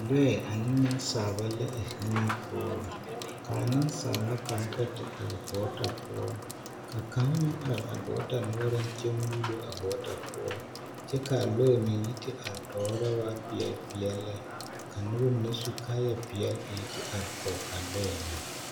Lɔɛ ane nensaalba la a zie ŋa poɔ ka nensaala kaŋ kpɛ te are gɔɔta poɔ ka kaŋ meŋ are a gɔɔta noɔreŋ kyɛ muulo a gɔɔta poɔ kyɛ ka a lɔɛ meŋ yi te are tɔɔre lɛ a waa peɛlle peɛlle lɛ ka noba mine su kaayapeɛlle a yi te are kɔge a lɔɛ na.